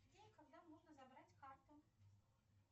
день когда можно забрать карту